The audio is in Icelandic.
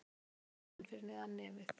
Að hafa munninn fyrir neðan nefið